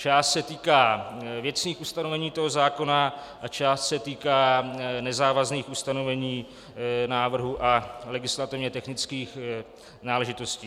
Část se týká věcných ustanovení toho zákona a část se týká nezávazných ustanovení návrhů a legislativně technických náležitostí.